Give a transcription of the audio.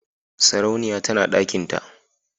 sarauniya tana dakinta.